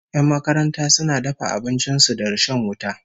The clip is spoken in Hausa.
Yan makaranta suna dafa abincin su da rishon wuta